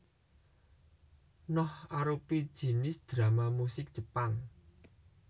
Noh arupi jinis drama musik Jepang